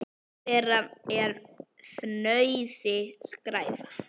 Eitt þeirra er fnauði: skræfa.